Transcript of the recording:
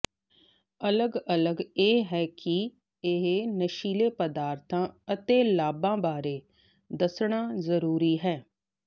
ਅਲੱਗ ਅਲੱਗ ਇਹ ਹੈ ਕਿ ਇਹ ਨਸ਼ੀਲੇ ਪਦਾਰਥਾਂ ਅਤੇ ਲਾਭਾਂ ਬਾਰੇ ਦੱਸਣਾ ਜ਼ਰੂਰੀ ਹੈ